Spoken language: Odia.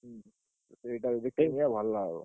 ହୁଁ ସେଇଟା ଯଦି କିଣି ନିଅ ଭଲ ହବ।